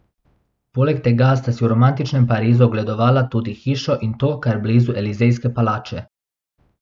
Poleg tega sta si v romantičnem Parizu ogledovala tudi hišo in to kar blizu Elizejske palače.